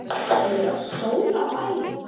Er verið að sóla lærin?